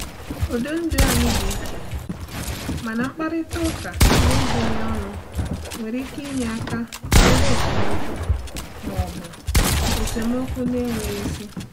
Ụdị ndụ anyị dị iche, mana mkparịta ụka n'ezoghị ọnụ nwere ike inye aka zere esemokwu ma ọ bụ esemokwu na-enweghị isi.